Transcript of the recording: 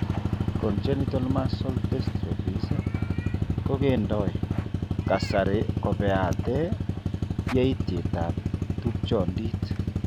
Congenital muscle dystrophies ko kendenoi kasari kobeate yaitietab tupchondit.